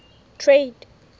trade